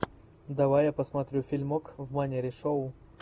давай я посмотрю фильмок в манере шоу